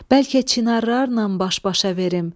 Bəlkə çinarlarla baş-başa verim.